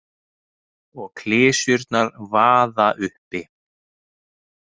Og klisjurnar vaða uppi.